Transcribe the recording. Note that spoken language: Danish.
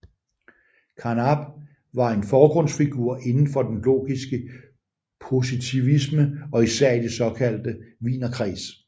Carnap var en forgrundsfigur inden for den logiske positivisme og især i den såkaldte Wienerkreds